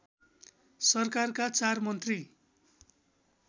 सरकारका चार मन्त्री